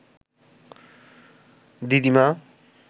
দিদিমা